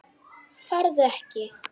Farðu ekki.